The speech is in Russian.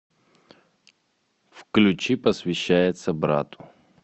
включи посвящается брату